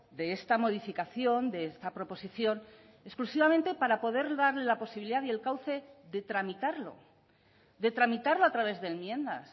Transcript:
de esta modificación de esta proposición exclusivamente para poder darle la posibilidad y el cauce de tramitarlo de tramitarlo a través de enmiendas